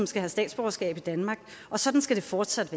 skal have statsborgerskab i danmark og sådan skal det fortsat